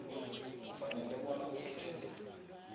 ufanele bona akhethe